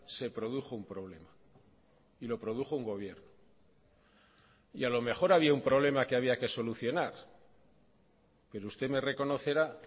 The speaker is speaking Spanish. se produjo un problema y lo produjo un gobierno y a lo mejor había un problema que había que solucionar pero usted me reconocerá